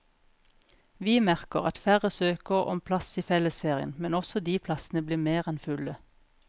Vi merker at færre søker om plass i fellesferien, men også de plassene blir mer enn fulle.